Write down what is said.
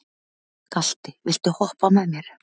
Galti, viltu hoppa með mér?